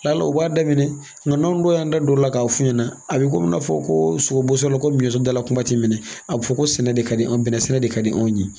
o b'a daminɛ nka da dɔ o la k'a f'u ɲɛna a bɛ komi i n'a fɔ ko sogo boso yɔrɔ la ko miyɛntɔ dala kuma ti minɛ a bɛ fɔ ko sɛnɛ de ka di an ye bɛnɛ sɛnɛ de ka di anw ye.